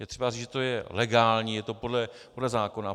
Je třeba říct, že to je legální, je to podle zákona.